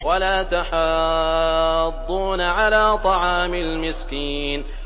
وَلَا تَحَاضُّونَ عَلَىٰ طَعَامِ الْمِسْكِينِ